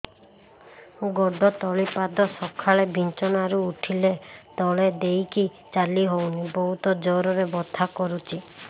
ଗୋଡ ତଳି ପାଦ ସକାଳେ ବିଛଣା ରୁ ଉଠିଲେ ତଳେ ଦେଇକି ଚାଲିହଉନି ବହୁତ ଜୋର ରେ ବଥା କରୁଛି